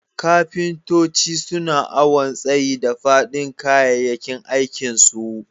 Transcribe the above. Kafintoci suna awon tsayi da fadin kayakin aikin su.